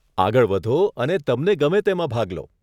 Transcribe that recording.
આગળ વધો અને તમને ગમે તેમાં ભાગ લો.